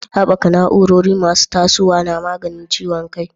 Haɓaka na'urori masu tasowa na maganin ciwon kai.